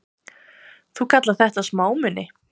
Þú kallar þetta smámuni!